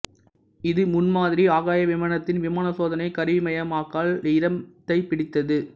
இது முன்மாதிரி ஆகாய விமானத்தின் விமான சோதனை கருவிமயமாக்கல் இடத்தைப்பிடித்தது